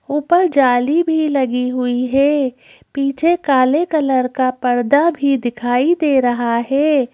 ऊपर जाली भी लगी हुई है पीछे काले कलर का पर्दा भी दिखाई दे रहा है।